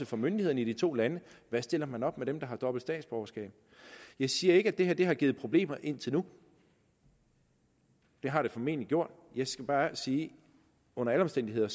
for myndighederne i de to lande hvad stiller man op med dem der har dobbelt statsborgerskab jeg siger ikke at det her har givet problemer indtil nu det har det formentlig gjort jeg skal bare sige at under alle omstændigheder